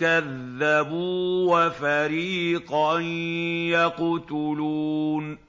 كَذَّبُوا وَفَرِيقًا يَقْتُلُونَ